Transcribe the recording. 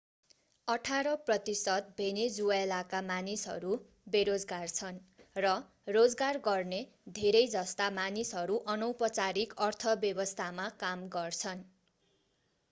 अठार प्रतिशत भेनेजुएलाका मानिसहरू बेरोजगार छन् र रोजगार गर्ने धेरै जस्ता मानिसहरू अनौपचारिक अर्थव्यवस्थामा काम गर्छन्